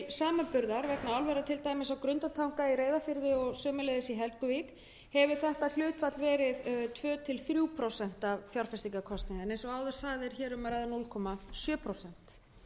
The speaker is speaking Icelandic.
vegna álvera á grundartanga á reyðarfirði og í helguvík hefur þetta hlutfall verið tvö til þrjú prósent af fjárfestingarkostnaði en eins og áður sagði er hér um að ræða núll komma sjö prósent